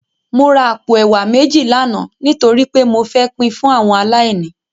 Mó rá àpó èwá méji làná nitóri pé mó fè pin fún áwòn àláìní